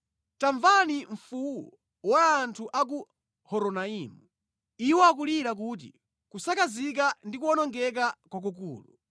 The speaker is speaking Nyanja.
Tamvani mfuwu wa anthu a ku Horonaimu. Iwo akulira kuti, ‘Kusakazika ndi kuwonongeka kwakukulu.’